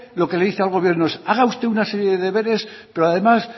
lo que dice al gobierno haga usted una serie de deberes pero además